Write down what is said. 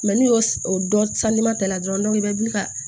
n'i y'o o dɔn ta la dɔrɔn i bɛ wuli ka